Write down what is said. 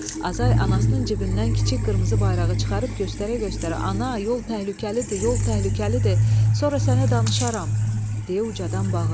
Azay anasının cibindən kiçik qırmızı bayrağı çıxarıb göstərə-göstərə: "Ana, yol təhlükəlidir, yol təhlükəlidir, sonra sənə danışaram", deyə ucadan bağırdı.